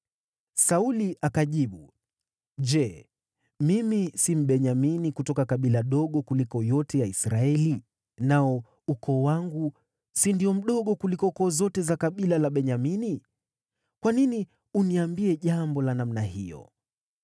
Sauli akajibu, “Je, mimi si Mbenyamini, kutoka kabila dogo kuliko yote ya Israeli, nao ukoo wangu si ndio mdogo kuliko koo zote za kabila la Benyamini? Kwa nini uniambie jambo la namna hiyo?”